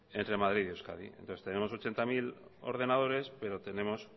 entre madrid y euskadi entonces tenemos ochenta mil ordenadores pero tenemos